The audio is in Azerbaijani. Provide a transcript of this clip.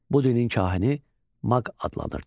Bu dinin kahini Maq adlanırdı.